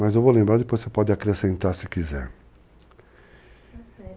Mas eu vou lembrar, depois você pode acrescentar se quiser. Está certo.